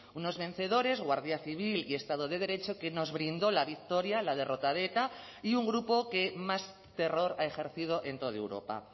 unos vencedores guardia civil y estado de derecho que nos brindó la victoria la derrota de eta y un grupo que más terror ha ejercido en toda europa